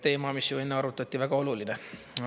Teema, mis enne arutati, väga oluline.